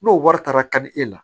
N'o wari taara ka di e la